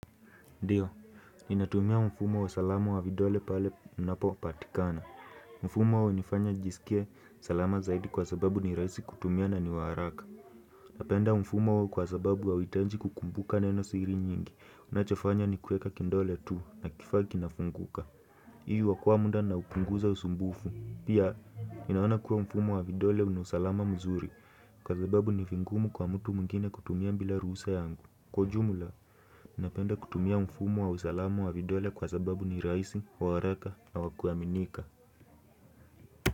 Ndiyo, inatumia mfumo wa usalamu wa vidole pale unapo patikana. Mfumo wa nifanya jisikia salama zaidi kwa sababu ni rahisi kutumia na niwaraka. Napenda mfumo huu kwa sababu hauitanji kukumbuka nenosiri nyingi. Unachofanya ni kweka kindole tu na kifagi na funguka. Iyu wakua muda na ukunguza usumbufu. Pia, inaona kuwa mfumo wa vidole unosalama mzuri kwa sababu ni vingumu kwa mtu mungine kutumia mbila ruse yangu. Kwa ujumla, ninapenda kutumia mfumo wa usalamu wa vidole kwa sababu ni rahisi, wa waraka na wakuaminika.